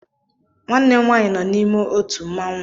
Nwannem nwaanyị no n'ime ótù mmawụ